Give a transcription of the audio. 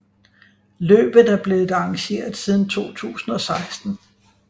Løbet er blevet arrangeret siden 2016